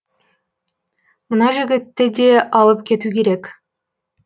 мына жігітті де алып кету керек